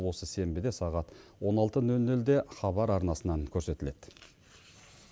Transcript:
осы сенбіде сағат он алты нөл нөлде хабар арнасынан көрсетіледі